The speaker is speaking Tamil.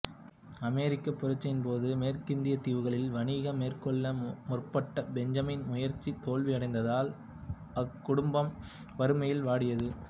அமெரிக்கப் புரட்சியின்போது மேற்கிந்தியத் தீவுகளில் வணிகம் மேற்கொள்ள முற்பட்ட பெஞ்சமினின் முயற்சி தோல்வியடைந்ததால் அக்குடும்பம் வறுமையில் வாடியது